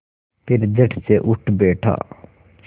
फिर झटसे उठ बैठा